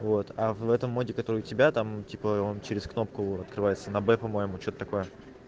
вот а в этом моде который у тебя там типа он через кнопку открывается на б по-моему что-то такое